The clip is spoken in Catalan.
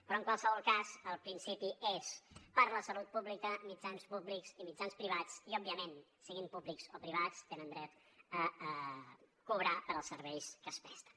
però en qualsevol cas el principi és per la salut pública mitjans públics i mitjans privats i òbviament siguin públics o privats tenen dret a cobrar pels serveis que es presten